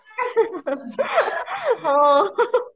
हो